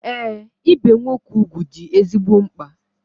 Ee, ibe nwoke ugwu dị ezigbo mkpa.